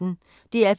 DR P1